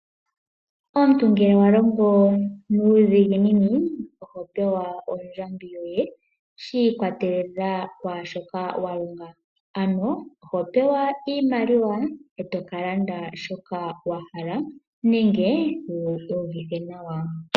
Omuntu ngele wa longo nuudhiginini, oho pewa ondjambi yoye, shi ikwatelela kwaashoka walonga, ano oho pewa iimaliwa eto ka landa shoka wa hala, nenge wu iyuvithe nawa.